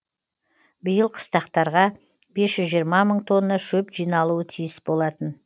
биыл қыстақтарға бес жүз жиырма мың тонна шөп жиналуы тиіс болатын